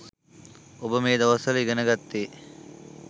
ඔබ මේ දවස්වල ඉගෙන ගත්තේ